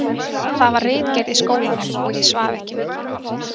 Það var ritgerð í skólanum og ég svaf ekki mikið í nótt.